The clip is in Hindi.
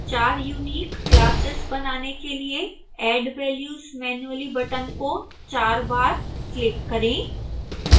4 यूनिक classes बनाने के लिए add values manually बटन को 4 बार क्लिक करें